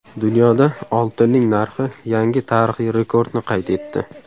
Dunyoda oltinning narxi yangi tarixiy rekordni qayd etdi.